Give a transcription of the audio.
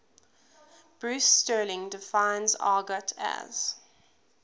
bruce sterling defines argot as